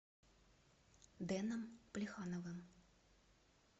дэном плехановым